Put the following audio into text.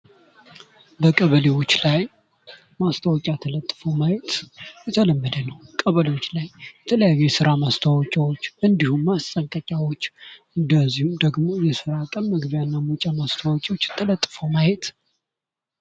በቀበሌዎች ላይ ማስታወቂያ ተልጥፎ ማየት የተለመደ ነው። ቀበሌዎች ላይ የተለያዩ የራ ማስታወቂያዎች እንዲሁም ማጠንቀቂያዎች እንዲሁም ደግሞ ስራ ቀን መግቢያ እና መውጫ ማስታወቂያዎች ተለጥፎ ማየት